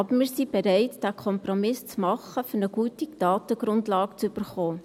Aber wir sind bereit, diesen Kompromiss zu machen, um eine gute Datengrundlage zu erhalten.